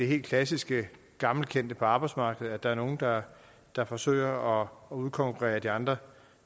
helt klassiske gammelkendte forhold på arbejdsmarkedet at der er nogle der der forsøger at udkonkurrere andre